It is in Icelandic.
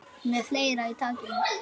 Með fleira í takinu